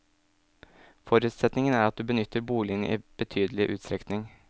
Forutsetningen er at du benytter boligen i betydelig utstrekning.